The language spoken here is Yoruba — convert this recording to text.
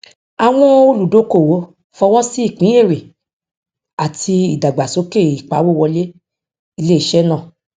àwọn olùdókówó fọwọsí ìpín èrè àti ìdàgbàsókè ìpawó wọlé iléiṣẹ náà